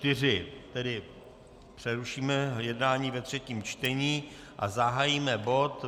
Tedy přerušíme jednání ve třetím čtení a zahájíme bod